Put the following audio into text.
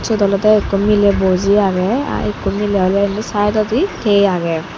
siot olody ekko mile buji aggei ekko mile olee sidodi tea aagey.